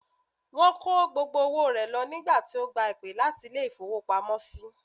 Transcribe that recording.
Wón kó gbogbo owó rẹ̀ lọ nígbà tí ó gba ìpè láti Ilé ìfowópamósí